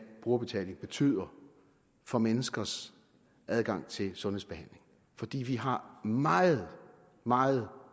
brugerbetaling betyder for menneskers adgang til sundhedsbehandling fordi vi har meget meget